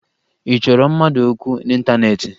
Ị chọrọ mmadụ okwu n'ịntaneetị?